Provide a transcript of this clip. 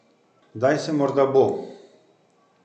Zdaj se morda bo.